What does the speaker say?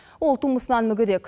ол тумысынан мүгедек